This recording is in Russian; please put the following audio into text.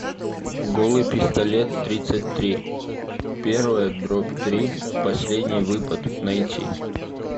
голый пистолет тридцать три первая дробь три последний выпад найти